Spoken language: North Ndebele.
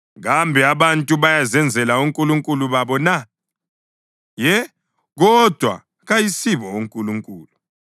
Kambe abantu bayazenzela onkulunkulu babo na? Ye, kodwa kayisibo onkulunkulu!”